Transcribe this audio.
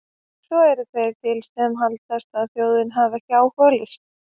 Svo eru þeir til sem halda að þjóðin hafi ekki áhuga á list!